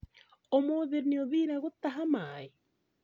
Umũthĩ nĩ ũthire gũtaha maĩ?